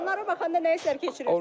Onlara baxanda nə hisslər keçirirsiniz?